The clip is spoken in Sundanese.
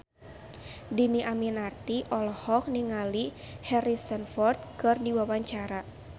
Dhini Aminarti olohok ningali Harrison Ford keur diwawancara